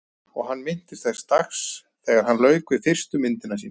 Og hann minnist þess dags þegar hann lauk við fyrstu myndina sína.